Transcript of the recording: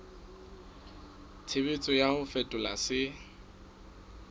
tshebetso ya ho fetola se